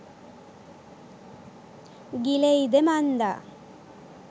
ගිලෙයිද මන්දා?